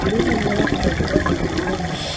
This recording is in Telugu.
టి ముందర ఒక పెద్ద ముగ్గు కూడా ఉంది.